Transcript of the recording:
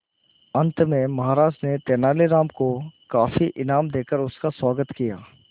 अंत में महाराज ने तेनालीराम को काफी इनाम देकर उसका स्वागत किया